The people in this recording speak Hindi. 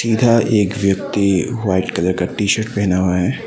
इधर एक व्यक्ति व्हाइट कलर का टी शर्ट पहना हुआ है।